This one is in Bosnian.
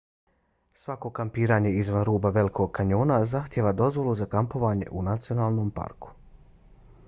svako kampiranje izvan ruba velikog kanjona zahtijeva dozvolu za kampovanje u nacionalnom parku